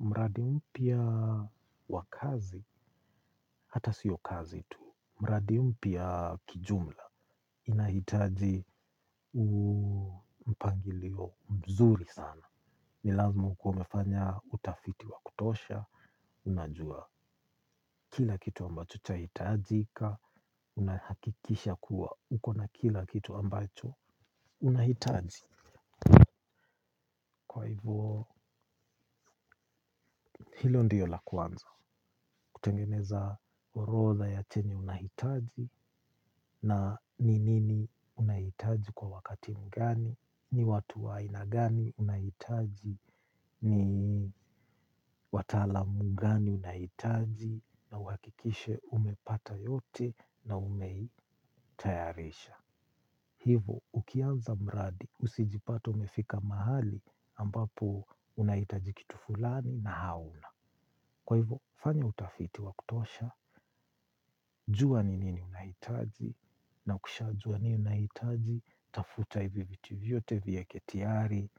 Mradi mya wa kazi, hata sio kazi tu. Mradi mpya kijumla. Inahitaji mpangilio mzuri sana. Ni lazima ukue umefanya utafiti wa kutosha. Unajua kila kitu ambacho chahitajika. Unahakikisha kuwa. Ukona kila kitu ambacho. Unahitaji. Kwa hivo. Hilo ndiyo la kwanza. Kutengeneza orodha ya chenye unahitaji. Na ni nini unahitaji kwa wakati mgani, ni watu wa aina gani unahitaji, ni wataalamu gani unahitaji, na uhakikishe umepata yote na umeitayarisha. Hivo, ukianza mradi, usijipate umefika mahali ambapo unahitaji kitu fulani na hauna. Kwa hivyo, fanya utafiti wa kutosha, jua ni nini unahitaji, na ukishajua nini unahitaji, tafuta hivi viti vyote vieke tayari,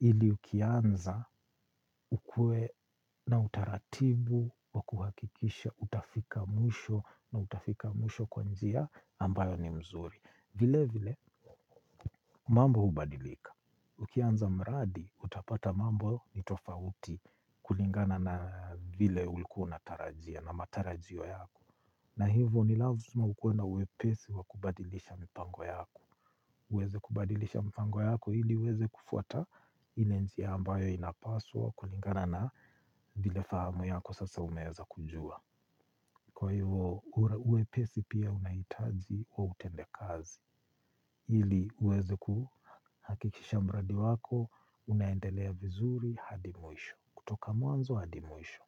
ili ukianza ukue na utaratibu wa kuhakikisha utafika mwisho na utafika mwisho kwa njia ambayo ni mzuri. Vile vile, mambo hubadilika. Ukianza mradi, utapata mambo ni tofauti kulingana na vile ulikua unatarajia na matarajio yako. Na hivo, ni lazima ukue na wepesi wa kubadilisha mipango yako. Uweze kubadilisha mipango yako hili uweze kufuata ile njia ambayo inapaswa kulingana na ile fahamu yako sasa umeweza kujua. Kwa hivyo ule wepesi pia unahitaji wa utendakazi kazi hili uweze kuhakikisha mradi wako unaendelea vizuri hadi mwisho kutoka mwanzo hadi mwisho.